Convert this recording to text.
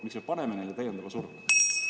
Miks me paneme täiendava surve?